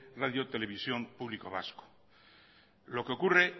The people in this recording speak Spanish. radio televisión público vasca lo que ocurre